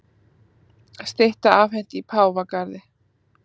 Stytta afhent í Páfagarði